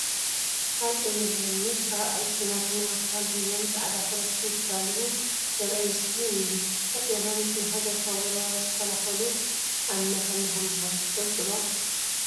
ሃፀይ ዮሃንስ ራብዓይ ኲናትን ዋልታን ሒዞም ብፃዕዳ ፈረስ እንትጋልቡ ዘርኢ ምስሊ እኒሀ፡፡ ሃፀይ ዮሃንስ ንሃገር ካብ ወራሪ ክከላኸሉ ኣብ መተማ ከምዝሞቱ ትፈልጡ ዶ?